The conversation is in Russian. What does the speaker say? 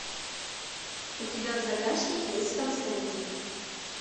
у тебя в загашнике есть константин